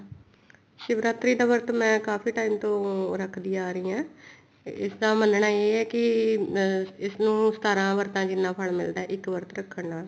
ਸ਼ਿਵਰਾਤਰੀ ਦਾ ਵਰਤ ਮੈਂ ਕਾਫੀ time ਤੋਂ ਰੱਖਦੀ ਆ ਰਹੀ ਹਾਂ ਇਸਦਾ ਮੰਨਣਾ ਇਹ ਹੈ ਕੀ ਇਸਨੂੰ ਸਤਾਰਾਂ ਵਰਤਾ ਜਿੰਨਾ ਫਲ ਮਿਲਦਾ ਇੱਕ ਵਰਤ ਰੱਖਣ ਨਾਲ